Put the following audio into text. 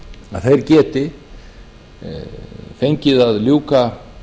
að þeir geti fengið að ljúka